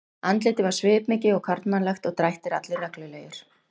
Andlitið var svipmikið og karlmannlegt og drættir allir reglulegir.